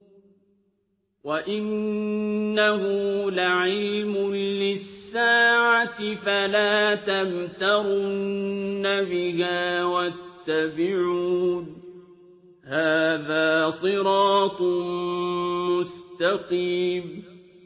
وَإِنَّهُ لَعِلْمٌ لِّلسَّاعَةِ فَلَا تَمْتَرُنَّ بِهَا وَاتَّبِعُونِ ۚ هَٰذَا صِرَاطٌ مُّسْتَقِيمٌ